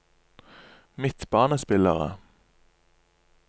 midtbanespillere